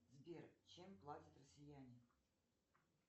сбер чем платят россияне